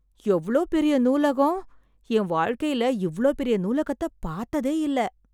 எவ்ளோ பெரிய நூலகம்! என் வாழ்க்கையில இவ்ளோ பெரிய நூலகத்தை பார்த்ததே இல்ல